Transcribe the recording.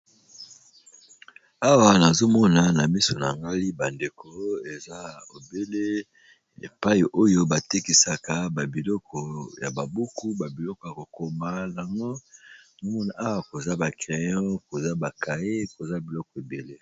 Awa nazomona na miso na ngai bandeko eza ebele epai oyo batekisaka babiloko ya babuku babiloko ya kokoma lango omona awa koza ba crayon koza ba kae koza biloko ebele.